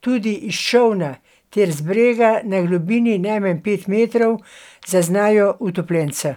tudi iz čolna ter z brega na globini najmanj pet metrov zaznajo utopljenca.